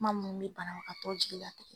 Kuma mun bɛ banabagatɔ jigi latigɛ